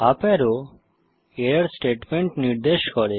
up arrow error statement নির্দেশ করে